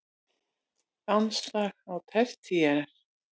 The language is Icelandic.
Landslag á tertíer